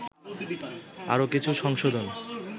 আরো কিছু সংশোধন